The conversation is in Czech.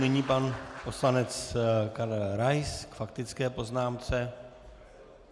Nyní pan poslanec Karel Rais k faktické poznámce.